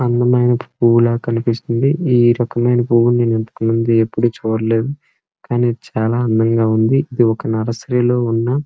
అందమైన పువ్వులా కనిపిస్తుంది. ఈ రకమైన పువ్వు నేను ఇంతకముందు ఎప్పుడూ చూడలేదు కానీ చాలా అందంగా ఉంది. ఇదొక నర్సరీ లో ఉన్న --